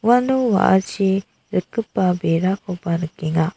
uano wa·achi rikgipa berakoba nikenga.